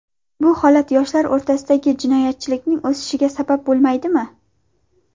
Bu holat yoshlar o‘rtasida jinoyatchilikning o‘sishiga sabab bo‘lmaydimi?